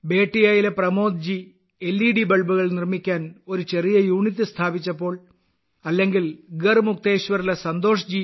ബേട്ടിയയിലെ Pramod ji LED ബൾബുകൾ നിർമ്മിക്കാൻ ഒരു ചെറിയ യൂണിറ്റ് സ്ഥാപിച്ചപ്പോൾ അല്ലെങ്കിൽ ഗർമുക്തേശ്വറിലെ ശ്രീ